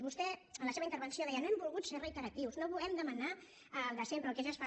vostè en la seva intervenció deia no hem volgut ser reiteratius no volem demanar el de sempre el que ja es fa